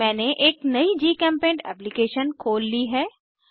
मैंने एक नयी जीचेम्पेंट एप्लीकेशन खोल ली है